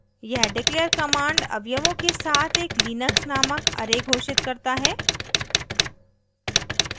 यह declare command अवयवों के साथ एक लिनक्स named array घोषित करता है